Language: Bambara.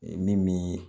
Min bi